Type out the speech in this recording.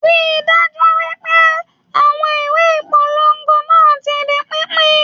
Rí dájú wípé àwọn ìwé ìpolongo náà ti di pínpín.